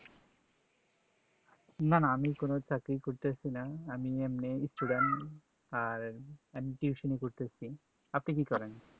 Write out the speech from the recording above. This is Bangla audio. না না আমি কোনো চাকরি করতেছিনা আমি এমনি student আর আমি Tuition ই করতাছি আপনি কি করেন